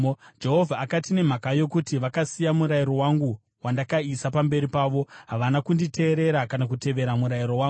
Jehovha akati, “Nemhaka yokuti vakasiya murayiro wangu, wandakaisa pamberi pavo, havana kunditeerera kana kutevera murayiro wangu.